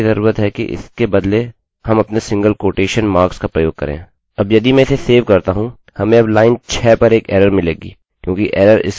अब यदि मैं इसे सेव करता हूँ हमें अब लाइन 6 पर एक एररerror मिलेगी क्योंकि एररerror इसके नीचे आ गयी है यह 6 में बदल गया